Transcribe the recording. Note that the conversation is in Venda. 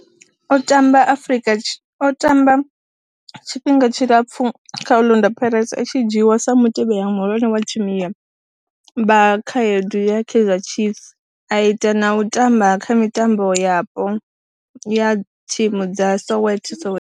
O tamba tshifhinga tshilapfhu kha Orlando Pirates, a tshi dzhiiwa e mutevheli muhulwane wa thimu ya vhakhaedu ya Kaizer Chiefs, a ita na u tamba kha mitambo yapo ya thimu dza Soweto, Soweto.